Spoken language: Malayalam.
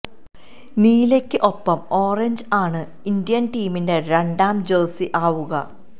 നീലയ്ക്ക് ഒപ്പം ഓറഞ്ച് ആണ് ഇന്ത്യന് ടീമിന്റെ രണ്ടാം ജഴ്സി ആവുക